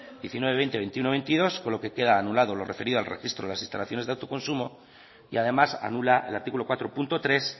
diecinueve veinte veintiuno y veintidós con lo que queda anulado lo referido al registro a las instalaciones de autoconsumo y además anula el artículo cuatro punto tres